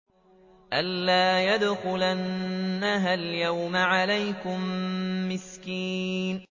أَن لَّا يَدْخُلَنَّهَا الْيَوْمَ عَلَيْكُم مِّسْكِينٌ